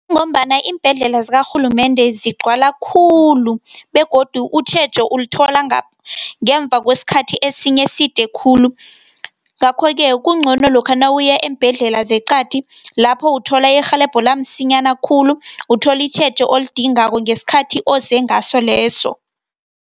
Ngombana iimbhedlela zakarhulumende zigcwala khulu, begodu utjhejo ulithola ngemva kwesikhathi esinye eside khulu. Ngakho-ke kungcono lokha nawuya eembhedlela zeqadi lapho uthola irhelebho la msinyana khulu, utholi itjhejo olidingako ngesikhathi ozengaso leso.